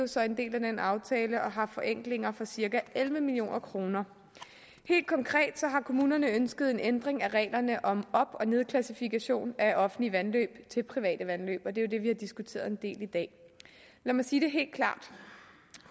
så en del af den aftale og har forenklinger for cirka elleve million kroner helt konkret har kommunerne ønsket en ændring af reglerne om op og nedklassifikation af offentlige vandløb til private vandløb og det er jo det vi har diskuteret en del i dag lad mig sige det helt klart